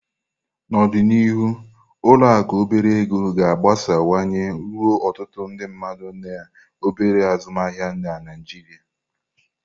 N'ọdịnihu, ụlọ akụ obere ego ga-agbasawanye ruo ọtụtụ ndị mmadụ na obere azụmaahịa na Naijiria.